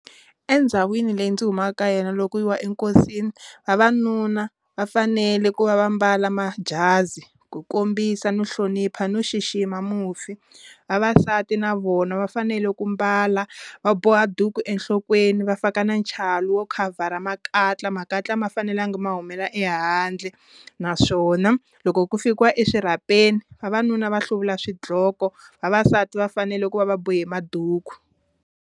Endhawini leyi ndzi humaka ka yena loko yi wa enkosini vavanuna va fanele ku va va mbala majazi ku kombisa no hlonipha no xixima mufi, vavasati na vona va fanele ku mbala va boha duku enhlokweni va faka na nchalu wo khavhara makatla, makatla ma fanelanga ma humela ehandle naswona loko ku fikiwa eswirhapeni vavanuna va hluvula swidloko vavasati va fanele ku va va bohe maduku.